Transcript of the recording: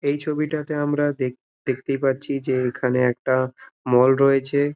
এই ছবিটা তে আমরা দেখ দেখতে পাচ্ছি এইখানে একটা মল রয়েছে --